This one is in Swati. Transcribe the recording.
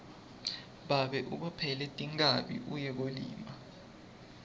babe ubophele tinkhabi uye kuyolima